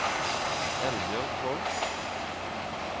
Eldbjørg Holth